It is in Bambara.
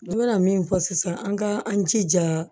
N bɛna min fɔ sisan an ka an jija